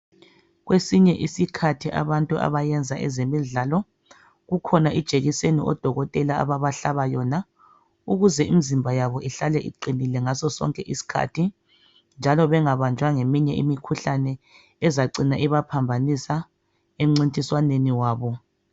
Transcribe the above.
Kwesinye isikhathi abantu abayenza ezemidlalo kukhona ijekiseni odokotela ababahlaba yona. Ukuze imizimba yabo ihlale iqinile ngaso sonke isikhathi, njalo bengabanjwa ngeminye imikhuhlane ezacina ibaphambanisa emncintiswaneni wabo.